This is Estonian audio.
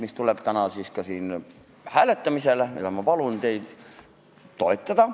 See tuleb täna siin hääletamisele ja ma palun teil seda toetada.